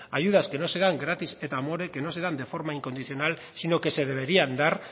ayudas que no se dan gratis et amore que no se dan de forma incondicional sino que se deberían dar